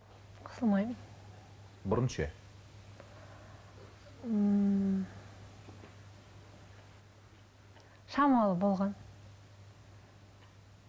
қысылмаймын бұрын ше шамалы болған